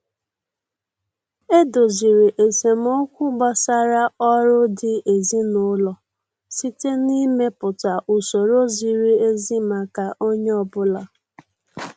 E doziri esemokwu gbasara ọrụ di ezin'ụlọ site na-ịmepụta usoro ziri ezi maka onye ọbụla.